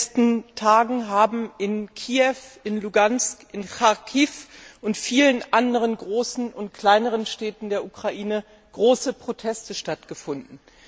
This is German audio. In den letzten Tagen haben in Kiew, in Luhansk, in Charkiw und in vielen anderen großen und kleineren Städten der Ukraine große Proteste stattgefunden.